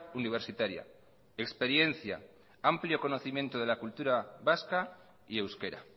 universitaria experiencia amplio conocimiento de la cultura vasca y euskera